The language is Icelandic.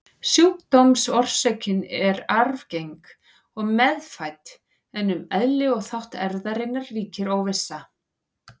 Sjúkdómsorsökin er arfgeng og meðfædd, en um eðli og þátt erfðarinnar ríkir óvissa.